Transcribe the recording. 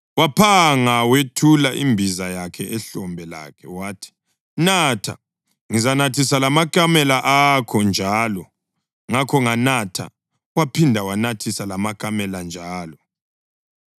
Waphanga wethula imbiza yakhe ehlombe lakhe wathi, ‘Natha, ngizanathisa lamakamela akho njalo.’ Ngakho nganatha, waphinda wanathisa lamakamela njalo.